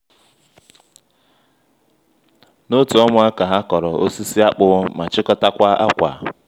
n'otu ọnwa ka ha kọrọ osisi akpụ ma chịkọtakwa ákwà